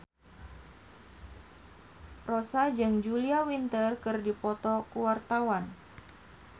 Rossa jeung Julia Winter keur dipoto ku wartawan